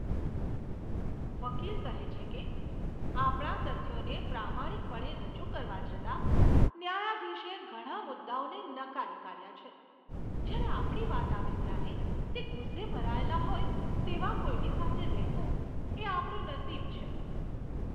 વકીલ કહે છે કે, આપણા તથ્યોને પ્રામાણિકપણે રજૂ કરવા છતાં, ન્યાયાધીશે ઘણા મુદ્દાઓને નકારી કાઢ્યા છે. જ્યારે આપણી વાત આવે ત્યારે, તે ગુસ્સે ભરાયેલા હોય તેવા કોઈની સાથે રહેવું, એ આપણું નસીબ છે.